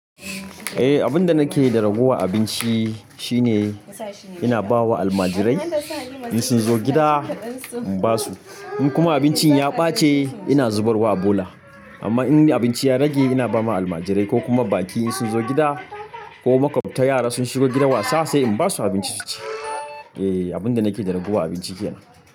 Whh abun da nake da ragowar abinci shi ne ehh ina bawa almajirai in sun zo gida in basu. In kuma abincin ya bace ina zubarwa a bola. Amma in abinci ya rage ina bawa almajirai ko kuma baƙi in sun zo gida ko ma makwabta yara sun shigo gida wasa sai in basu abinci su ci. Eh abinda nake da raguwa abinci kenan.